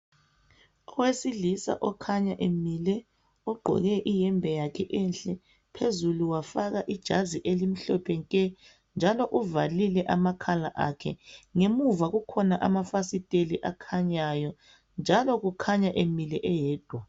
Owesilisa okhanya emile ogqoke iyembe yakhe enhle phezulu wafaka ijazi elimhlophe nke njalo uvalile amakhala akhe ngemuva kukhona amafasiteli akhanyayo njalo kukhanya emile eyedwa.